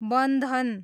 बन्धन